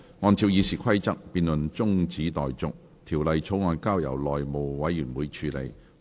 按照《議事規則》，這辯論現在中止待續，條例草案則交由內務委員會處理。